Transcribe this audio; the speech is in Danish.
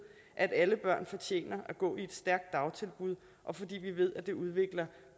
at alle børn fortjener at gå i et stærkt dagtilbud og fordi vi ved at det udvikler